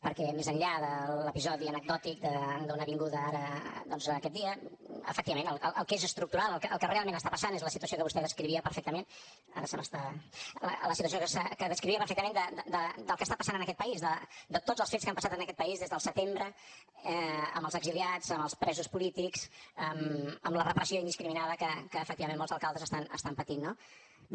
perquè més enllà de l’episodi anecdòtic d’una vinguda ara doncs aquest dia efectivament el que és estructural el que realment està passant és la situació que vostè descrivia perfectament del que està passant en aquest país de tots els fets que han passat en aquest país des del setembre amb els exiliats amb els presos polítics amb la repressió indiscriminada que efectivament molts alcaldes estan patint no bé